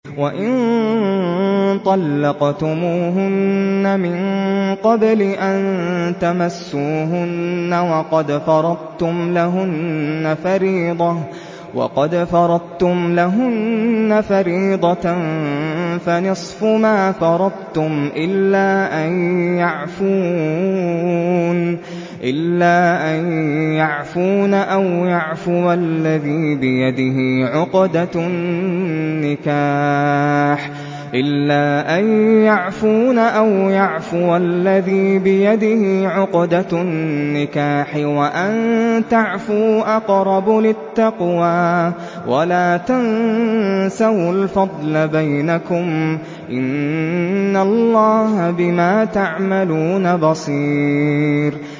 وَإِن طَلَّقْتُمُوهُنَّ مِن قَبْلِ أَن تَمَسُّوهُنَّ وَقَدْ فَرَضْتُمْ لَهُنَّ فَرِيضَةً فَنِصْفُ مَا فَرَضْتُمْ إِلَّا أَن يَعْفُونَ أَوْ يَعْفُوَ الَّذِي بِيَدِهِ عُقْدَةُ النِّكَاحِ ۚ وَأَن تَعْفُوا أَقْرَبُ لِلتَّقْوَىٰ ۚ وَلَا تَنسَوُا الْفَضْلَ بَيْنَكُمْ ۚ إِنَّ اللَّهَ بِمَا تَعْمَلُونَ بَصِيرٌ